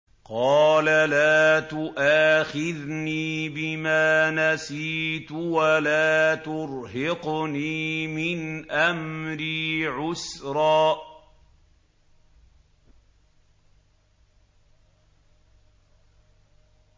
قَالَ لَا تُؤَاخِذْنِي بِمَا نَسِيتُ وَلَا تُرْهِقْنِي مِنْ أَمْرِي عُسْرًا